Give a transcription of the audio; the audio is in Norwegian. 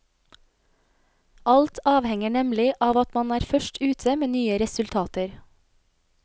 Alt avhenger nemlig av at man er først ute med nye resultater.